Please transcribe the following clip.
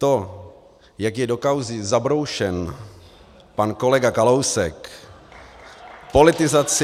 To, jak je do kauzy zabroušen pan kolega Kalousek , politizaci...